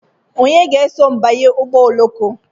Onye ga-eso m banye ụgbọ oloko?